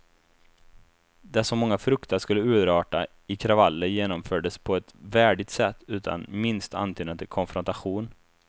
Det som många fruktat skulle urarta i kravaller genomfördes på ett värdigt sätt utan minsta antydan till konfrontation.